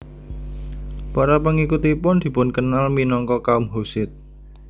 Para pengikutipun dipunkenal minangka kaum Hussit